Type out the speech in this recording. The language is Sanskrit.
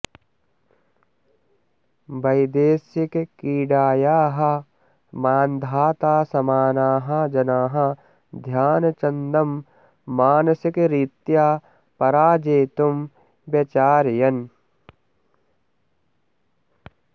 वैदेशिकक्रीडायाः मान्धाता समानाः जनाः ध्यानचन्दं मानसिकरीत्या पराजेतुम् व्यचारयन्